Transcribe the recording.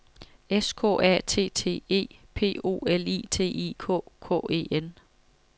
S K A T T E P O L I T I K K E N